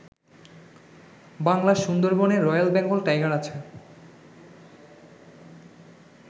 বাংলার সুন্দরবনে royal Bengal tiger আছে।